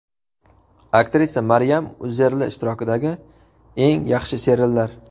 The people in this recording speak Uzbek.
Aktrisa Maryam Uzerli ishtirokidagi eng yaxshi seriallar .